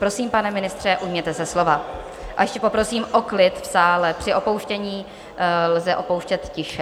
Prosím, pane ministře, ujměte se slova, a ještě poprosím o klid v sále, při opouštění lze opouštět tiše.